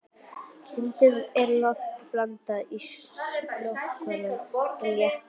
Stundum er lofti blandað í skolvökvann til að létta hann.